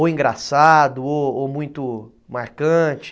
Ou engraçado, ou muito marcante?